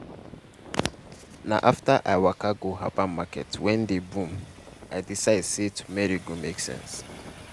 na after i waka go herbal market wey dey boom i decide say turmeric go make sense.